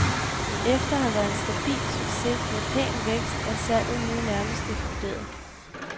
Efter at have været en stabil succes med pæn vækst, er salget nu nærmest eksploderet.